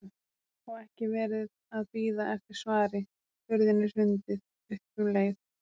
Og ekki verið að bíða eftir svari, hurðinni hrundið upp um leið.